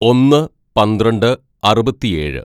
"ഒന്ന് പന്ത്രണ്ട് അറുപത്തിയേഴ്‌